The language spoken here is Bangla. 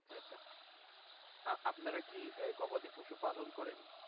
আপনারা কি গবাদি পশু পালন করেন?